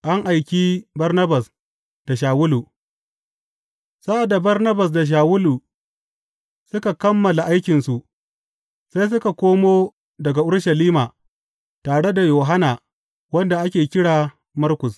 An aiki Barnabas da Shawulu Sa’ad da Barnabas da Shawulu suka kammala aikinsu, sai suka komo daga Urushalima, tare da Yohanna, wanda ake kira Markus.